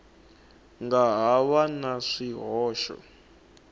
nga ha va na swihoxo